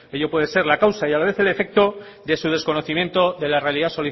ello puede ser la causa y a la vez el efecto de su desconocimiento de la realidad